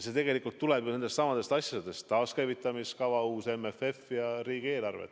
See tuleb nendestsamadest asjadest: taaskäivitamiskava, uus MFF ja riigieelarve.